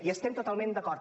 hi estem totalment d’acord